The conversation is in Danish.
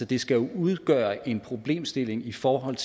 det skal jo udgøre en problemstilling i forhold